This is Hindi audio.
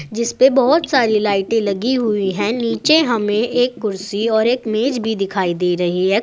जिस पर बहोत सारी लाइटें लगी हुई हैं नीचे हमें एक कुर्सी और एक मेज भी दिखाई दे रही है।